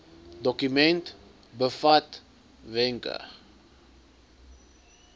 dokument bevat wenke